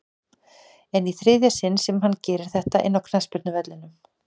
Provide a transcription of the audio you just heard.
En í þriðja sinn sem hann gerir þetta inná knattspyrnuvellinum?